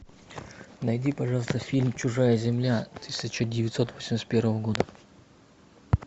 найди пожалуйста фильм чужая земля тысяча девятьсот восемьдесят первого года